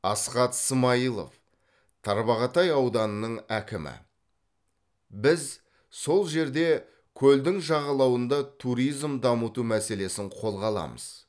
асхат смаилов тарбағатай ауданының әкімі біз сол жерде көлдің жағалауында туризм дамыту мәселесін қолға аламыз